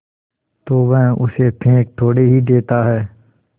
तो वह उसे फेंक थोड़े ही देता है